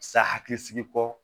Sa hakili sigi kɔ